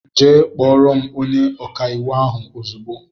Jee kpọrọ m ónyé ọkà íwú ahụ ozigbo!!!